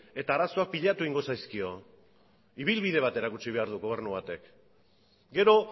eta arazoak pilatu egingo zaizkio ibilbide bat erakutsi behar du gobernu batek gero